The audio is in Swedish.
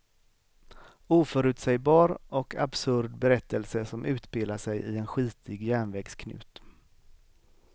Oförutsägbar och absurd berättelse som utspelar sig i en skitig järnvägsknut.